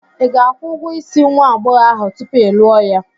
Ị ga-akwụ ụgwọ isi nwa agbọghọ ahụ tupu ị lụọ ya?